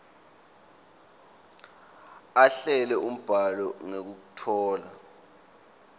ahlele umbhalo ngekutfola